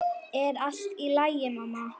Er allt í lagi, mamma?